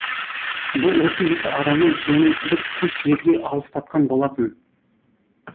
бұл осы екі араны және бір кеш жерге алыстатқан болатын